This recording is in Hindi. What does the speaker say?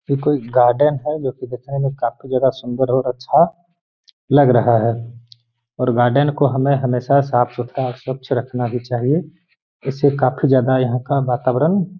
ये कोई गार्डन है जो कि दिखने मे काफी ज्यादा सुन्दर और अच्छा लग रहा है और गार्डन को हमें हमेशा साफ-सुथरा स्वच्छ रखना भी चाहिए इससे काफी ज्यादा यहाँ का वातावरण --